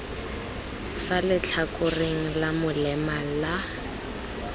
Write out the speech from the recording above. fa letlhakoreng la molema la